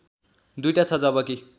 दुईटा छ जबकि